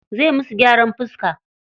Zai musu gyaran fiska.